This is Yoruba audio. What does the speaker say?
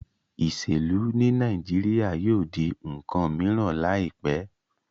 Iselu ni Naijiria yóò di nkan miran laipẹ.